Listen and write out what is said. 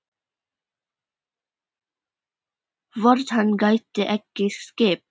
Hvort hann gæti ekki skipt?